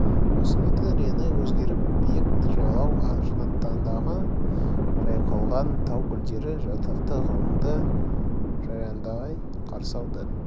өсімдіктің реңі өзгеріп биік жайлау жаннатындағы жайқалған тау гүлдері атақты ғалымды жайраңдай қарсы алды